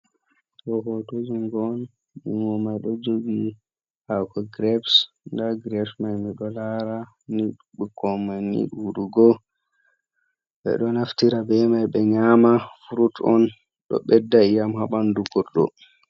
Ɗo hoto jungo on, jungo mai ɗo jogi haako greps. Nda greps man miɗo laara, ɓikkoi mai ni ɗuuɗugo, ɓe ɗo naftira be mai ɓe nyama. Frut on, ɗo ɓedda iyam haa ɓandu goɗɗo.